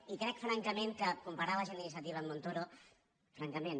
i crec francament que comparar la gent d’iniciativa amb montoro francament